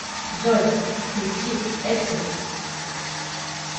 джой включи экситс